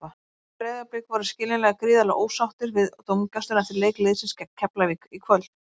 Breiðablik voru skiljanlega gríðarlega ósáttir við dómgæsluna eftir leik liðsins gegn Keflavík í kvöld.